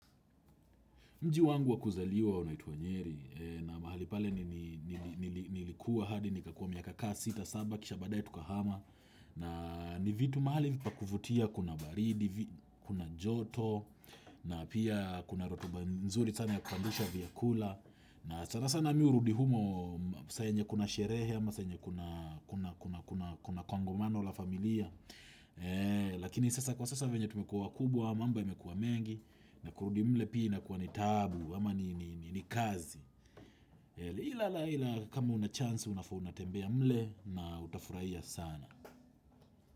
Mji wangu wa kuzaliwa unaitwa nyeri na mahali pale nilikuwa hadi nikakua miaka kaa 6, 7, kisha baadae tukahama na ni vitu mahali pa kuvutia kuna baridi, kuna joto na pia kuna rotuba nzuri sana ya kupandisha vyakula na sana sana mimi hurudi humo saa yenye kuna sherehe ama saa yenye kuna kongamano la familia. Lakini sasa kwa sasa venya tumekuwa wakubwa mambo imekuwa mengi na kurudi mle pia inakuwa ni taabu ama ni kazi Ila la ila kama una chance unafaa unatembea mle na utafurahia sana.